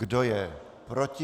Kdo je proti?